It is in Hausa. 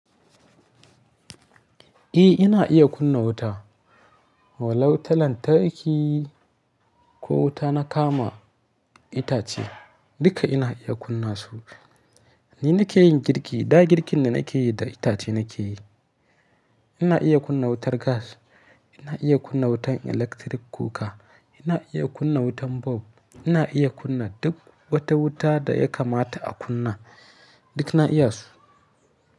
Eh ina iya kunna wuta, walau ta lantarki ko wuta na kama itace duka ina iya kunna su. Ni nake yin girki, da girkin da nake yi da itace nake yi. Ina iya kunna wutar gas, ina iya kunna wutan electric cooker, ina iya kunna wutan bulb, ina iya kunna duk wata wuta da ya kamata a kunna duk ina iya su.